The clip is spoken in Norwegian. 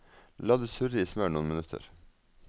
La det surre i smør noen minutter.